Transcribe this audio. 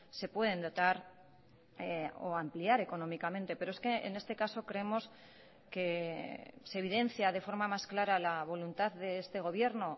se pueden dotar o ampliar económicamente pero es que en este caso creemos que se evidencia de forma más clara la voluntad de este gobierno